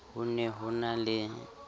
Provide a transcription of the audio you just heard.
ho ne ho na le